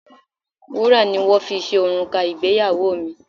Wúrà ni wón fi ṣe òrùka ìgbéyàwó mi.